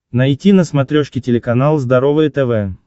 найти на смотрешке телеканал здоровое тв